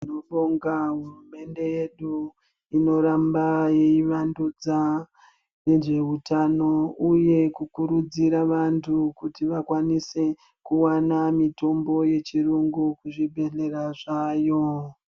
Tinobonga hurumende yedu inoramba yeivandudza nezveutano uyu kukuridzira vantu kuti vakwanise kuwana mitombo yechirungu kuzvibhedhlera zvaayo.